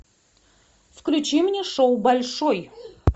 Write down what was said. включи мне шоу большой